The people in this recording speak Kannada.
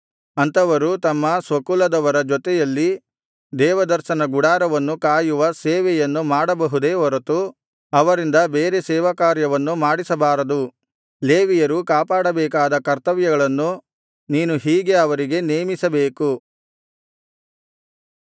ಅಂಥವರು ತಮ್ಮ ಸ್ವಕುಲದವರ ಜೊತೆಯಲ್ಲಿ ದೇವದರ್ಶನ ಗುಡಾರವನ್ನು ಕಾಯುವ ಸೇವೆಯನ್ನು ಮಾಡಬಹುದೇ ಹೊರತು ಅವರಿಂದ ಬೇರೆ ಸೇವಾಕಾರ್ಯವನ್ನು ಮಾಡಿಸಬಾರದು ಲೇವಿಯರು ಕಾಪಾಡಬೇಕಾದ ಕರ್ತವ್ಯಗಳನ್ನು ನೀನು ಹೀಗೆ ಅವರಿಗೆ ನೇಮಿಸಬೇಕು